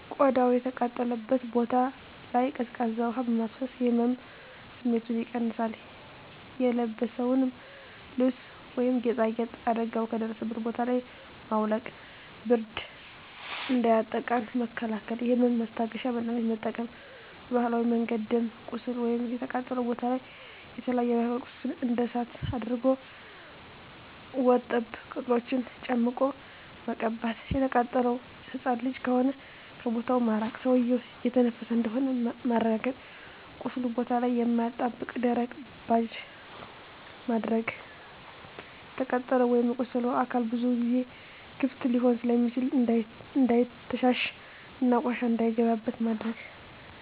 ቆዳው የተቃጠለበት ቦታ ላይ ቀዝቃዛ ውሀ በማፍሰስ የህመም ስሜቱን ይቀንሳል :የለበስነውን ልብስ ወይም ጌጣጌጥ አደጋው ከደረሰበት ቦታ ላይ ማውለቅ ብርድ እንዳያጠቃን መከላከል የህመም ማስታገሻ መድሀኒት መጠቀም በባህላዊ መንገድ ደም ቁስሉ ወይም የተቃጠለው ቦታ ላይ የተለያዪ የባህላዊ ቅጠሎች እንደ እሳት አድርቅ ወርጠብ ቅጠሎችን ጨምቆ መቀባት። የተቃጠለው ህፃን ልጅ ከሆነ ከቦታው ማራቅ ሰውዬው እየተነፈሰ እንደሆነ ማረጋገጥ ቁስሉ ቦታ ላይ የማያጣብቅ ደረቅ ባንዴጅ ማድረግ። የተቃጠለው ወይም የቆሰለው አካል ብዙ ጊዜ ክፍት ሊሆን ስለሚችል እንዳይተሻሽ እና ቆሻሻ እንዳይገባበት ማድረግ።